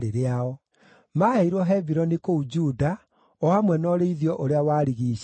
Maaheirwo Hebironi kũu Juda, o hamwe na ũrĩithio ũrĩa warigiicĩirie.